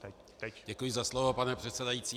Děkuji za slovo, pane předsedající.